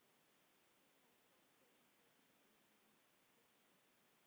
Dýrmæt samtöl svo tímunum skipti.